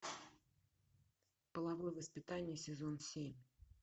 половое воспитание сезон семь